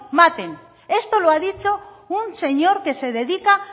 maten esto lo ha dicho un señor que se dedica